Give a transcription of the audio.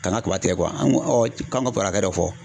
Kana kaba tigɛ an ko k'an ka kɔrɔkɛ dɔ fɔ.